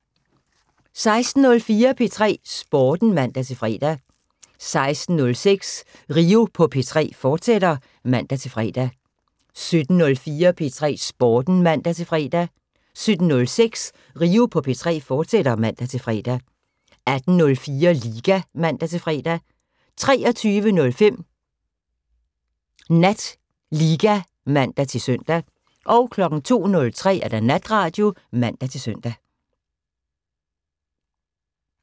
16:04: P3 Sporten (man-fre) 16:06: Rio på P3, fortsat (man-fre) 17:04: P3 Sporten (man-fre) 17:06: Rio på P3, fortsat (man-fre) 18:04: Liga (man-fre) 23:05: NatLiga (man-søn) 02:03: Natradio (man-søn)